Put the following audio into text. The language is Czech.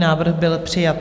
Návrh byl přijat.